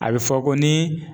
A bɛ fɔ ko ni.